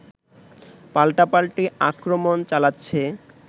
পাল্টাপাল্টি আক্রমণ চালাচ্ছে